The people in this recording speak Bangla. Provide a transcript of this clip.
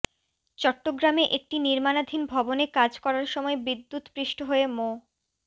চট্টগ্রামে একটি নির্মাণাধীন ভবনে কাজ করার সময় বিদ্যুৎস্পৃষ্ট হয়ে মো